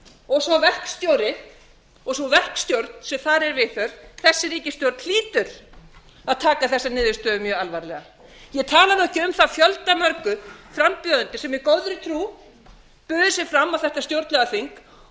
og sá verkstjóri og sú verkstjórn sem þar er viðhöfð þessi ríkisstjórn hlýtur að taka þessari niðurstöðu mjög alvarlega ég tala nú ekki um þá fjöldamörgu frambjóðendur sem í góðri trú buðu sig fram á þetta stjórnlagaþing og